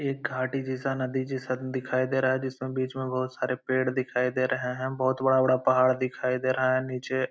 एक गाड़ी जैसा नदी जैसा दिखाई दे रहा है जिसमें बीच में बहुत सारे पेड़ दिखाई दे रहे हैं। बहुत बड़ा-बड़ा पहाड़ दिखाई दे रहा है नीचे --